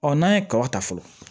n'an ye kaba ta fɔlɔ